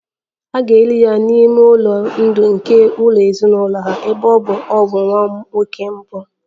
A ga-eli ya n'ime ụlọ ndụ nke ụlọ ezinụlọ ha, ebe ọ bụ na ọ bụ nwa nwoke mbụ